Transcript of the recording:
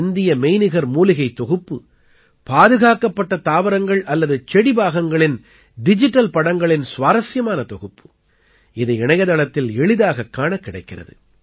இந்திய மெய்நிகர் மூலிகைத் தொகுப்பு பாதுகாக்கப்பட்ட தாவரங்கள் அல்லது செடி பாகங்களின் டிஜிட்டல் படங்களின் சுவாரசியமான தொகுப்பு இது இணையத்தளத்தில் எளிதாகக் காணக் கிடைக்கிறது